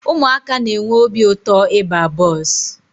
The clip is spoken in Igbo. Ụmụaka na-enwe obi ụtọ ịba bọọsụ.